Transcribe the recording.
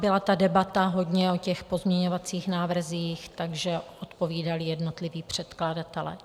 Byla ta debata hodně o těch pozměňovacích návrzích, takže odpovídali jednotliví předkladatelé.